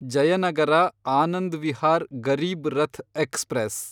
Jayanagar Anand Vihar Garib Rath express